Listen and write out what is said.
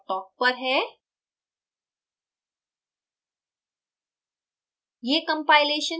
यह report dot toc पर है